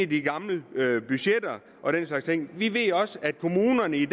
de gamle budgetter og den slags ting vi ved også at kommunerne i